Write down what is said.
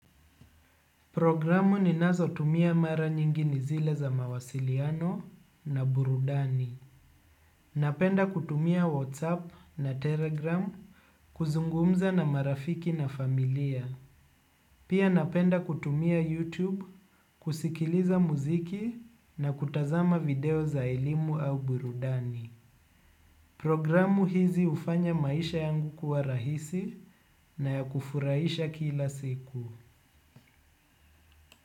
Programu ninazotumia mara nyingi ni zile za mawasiliano na burudani. Napenda kutumia WhatsApp na Telegram kuzungumza na marafiki na familia. Pia napenda kutumia YouTube kusikiliza muziki na kutazama video za elimu au burudani. Programu hizi hufanya maisha yangu kuwa rahisi na ya kufurahisha kila siku.